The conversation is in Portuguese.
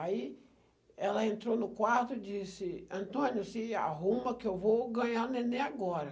Aí ela entrou no quarto e disse, Antônio, se arruma que eu vou ganhar neném agora.